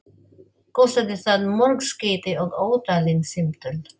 Kostaði það mörg skeyti og ótalin símtöl.